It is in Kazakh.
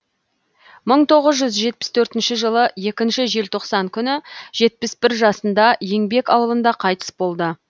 мың тоғыз жүз жетпіс төртінші жылы екінші желтоқсан күні жетпіс бір жасында еңбек ауылында қайтыс болды